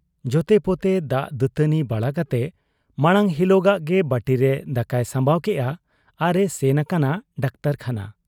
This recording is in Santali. ᱡᱷᱚᱛᱮᱯᱚᱛᱮ ᱫᱟᱜ ᱫᱟᱹᱛᱟᱹᱣᱱᱤ ᱵᱟᱲᱟ ᱠᱟᱛᱮ ᱢᱟᱬᱟᱝ ᱦᱤᱞᱚᱜᱟᱜᱜᱮ ᱵᱟᱹᱴᱤᱨᱮ ᱫᱟᱠᱟᱭ ᱥᱟᱢᱵᱟᱣ ᱠᱮᱜ ᱟ, ᱟᱨ ᱮ ᱥᱮᱱ ᱟᱠᱟᱱᱟ ᱰᱟᱠᱛᱚᱨᱠᱷᱟᱱᱟ ᱾